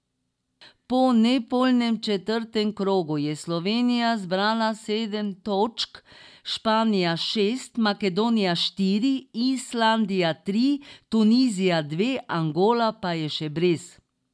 Po nepolnem četrtem krogu je Slovenija zbrala sedem točk, Španija šest, Makedonija štiri, Islandija tri, Tunizija dve, Angola pa je še brez.